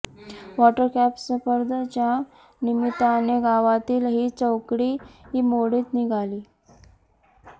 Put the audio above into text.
water cup स्पर्धेच्या निमित्ताने गावातील ही चौकडी मोडीत निघाली